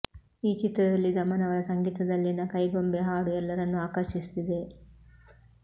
ಈ ಚಿತ್ರದಲ್ಲಿ ದಮನ್ ಅವರ ಸಂಗೀತದಲ್ಲಿನ ಕೈಗೊಂಬೆ ಹಾಡು ಎಲ್ಲರನ್ನೂ ಆಕರ್ಷಿಸುತ್ತಿದೆ